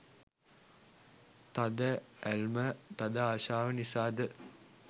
තද ඇල්ම, තද ආශාව නිසාද